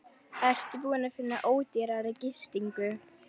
Ertu búinn að finna ódýrari gistingu?